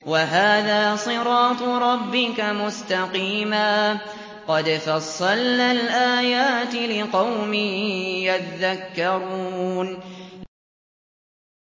وَهَٰذَا صِرَاطُ رَبِّكَ مُسْتَقِيمًا ۗ قَدْ فَصَّلْنَا الْآيَاتِ لِقَوْمٍ يَذَّكَّرُونَ